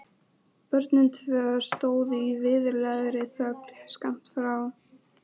Börnin tvö stóðu í virðulegri þögn skammt frá.